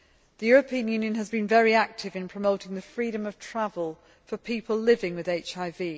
The European Union has been very active in promoting freedom of travel for people living with HIV.